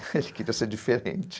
Ele queria ser diferente.